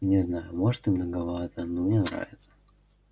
не знаю может и многовато но мне нравится